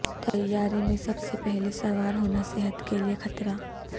طیارے میں سب سے پہلے سوار ہونا صحت کیلئے خطرہ